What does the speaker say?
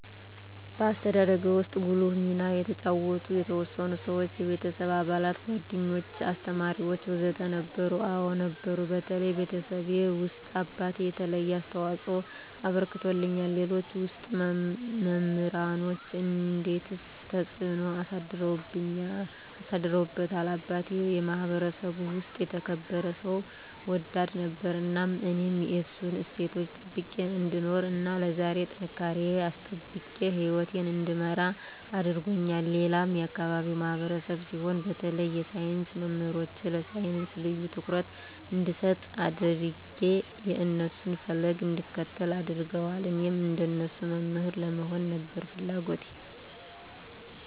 በአስተዳደግዎ ውስጥ ጉልህ ሚና የተጫወቱ የተወሰኑ ሰዎች (የቤተሰብ አባላት፣ ጓደኞች፣ አስተማሪዎች ወዘተ) ነበሩ? አዎ ነበሩ በተለይ ቤተሰቤ ውስጥ አባቴ የተለየ አስተዋፅኦ አበርክቶልኛል ሌሎች ውስጥ መምራኖቼ እንዴትስ ተጽዕኖ አሳድረውብዎታል አባቴ የማህበረሰቡ ውስጥ የተከበረ ሰው ወዳድ ነበር እናም እኔም የእሱን እሴቶች ጠብቄ እንድኖር እና ለዛሬ ጥንካሬየን አስጠብቄ ህይወቴን እንድመራ አድርጎኛል ሌላም የአካባቢው ማህበረሰብ ሲሆን በተለይ የሳይንስ መምህሮቼ ለሳይንስ ልዬ ትኩረት እንድሰጥ አድጌ የእነሱን ፈለግ እንድከተል አድርገዋል እኔም እንደነሱ መምህር ለመሆን ነበር ፍለጎቴ